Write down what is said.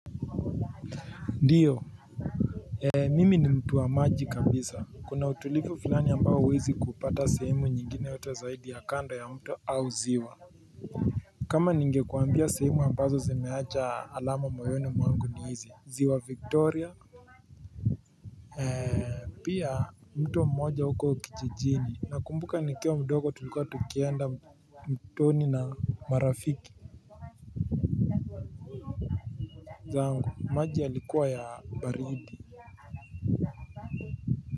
Ndiyo. Mimi ni mtu wa maji kabisa kuna utulivu fulani ambao huwezi kupata sehemu nyingine wote zaidi ya kando ya mto au ziwa. Kama ningekuambia sehemu ambazo zimeacha alama moyoni mwangu ndio hizi, ziwa victoria. Pia mto mmoja huko kijijini nakumbuka nikiwa mdogo tulikua tukienda mtoni na marafiki zangu maji yalikuwa ya baridi. Kwa hivyo.